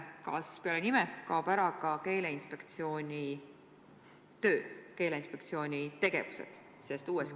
Kas peale nime kaovad ära ka Keeleinspektsiooni töö ja tegevused?